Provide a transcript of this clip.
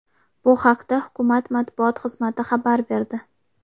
Bu haqda hukumat matbuot xizmati xabar berdi .